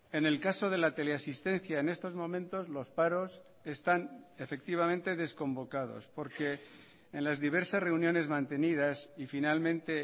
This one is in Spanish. en el caso de la teleasistencia en estos momentos los paros están efectivamente desconvocados porque en las diversas reuniones mantenidas y finalmente